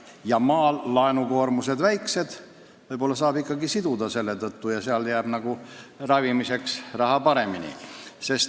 Maal on laenukoormused väiksed ja seal jääb ravimiseks raha rohkem.